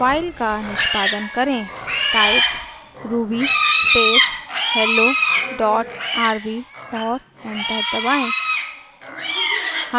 file का निष्पादन करें type ruby space hello dot rb और एंटर दबाएँ